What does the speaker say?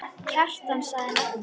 Kjartan sagði nafn sitt.